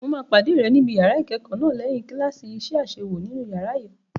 Mo máa pàdé rẹ níbi yàrá ìkẹ́kọ̀ọ́ náà lẹ́yìn kíláàsì iṣẹ́ àṣewò nínú yàrá àyẹ̀wò.